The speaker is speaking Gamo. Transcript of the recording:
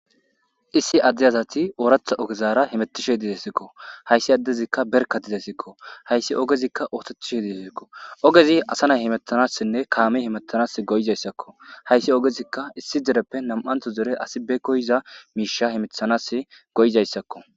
Issi adde azati ooratha ogezaara himetishe diiesikko hayssi addezikka berkatidasikko hayssi ogezikka ootetchishe diesikko ogezi asa nay himettanassinne kaami himettanas goyizayssakko hayssi ogezikka issi dereppe nam'anto dere asi be koyiza miisha himethanas goyzayssakko.